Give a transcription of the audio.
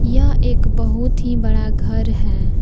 यह एक बहुत ही बड़ा घर है।